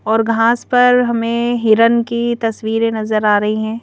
और घास पर हमें हिरण की तस्वीरें नजर आ रही हैं।